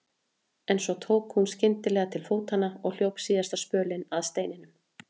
En svo tók hún skyndilega til fótanna og hljóp síðasta spölinn að steininum.